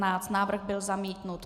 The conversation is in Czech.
Návrh byl zamítnut.